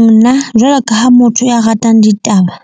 Nna jwalo ka ha motho ya ratang ditaba